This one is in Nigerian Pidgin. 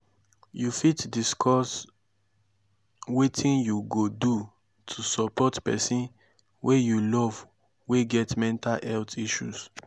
you fit discuss wetin you go do to support pesin wey you love wey get mental health issues?